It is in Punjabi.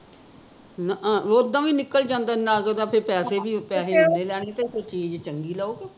ਨਾ ਆ ਓਦਾ ਵੀ ਨਿਕਲ ਈ ਜਾਦਾ ਫੇਰ ਨਗ ਦੇ ਪੈਸੇ ਵੀ ਪੈਸੇ ਤਾਂ ਓਨੇ ਹੀਂ ਲੈਣੇ ਫੇਰ ਚੀਜ਼ ਚੰਗੀ ਲਓ ਕਿ